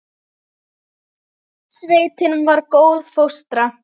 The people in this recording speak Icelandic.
Sveitin var góð fóstra.